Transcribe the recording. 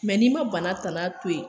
n'i ma bana tana to yen